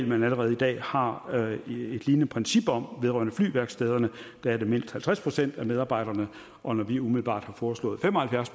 man allerede i dag har et lignende princip om vedrørende flyværkstederne der er det mindst halvtreds procent af medarbejderne og når vi umiddelbart har foreslået fem og halvfjerds